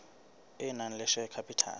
e nang le share capital